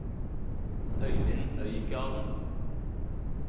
Øivind Øygarden